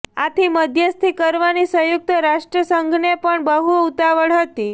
આથી મધ્યસ્થી કરવાની સંયુક્ત રાષ્ટ્રસંઘને પણ બહુ ઉતાવળ હતી